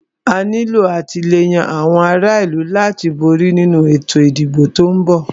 A nílo àtìlẹ́yìn àwọn ará ìlú láti borí nínu ètò ìdìbò tí o ń bọ̀.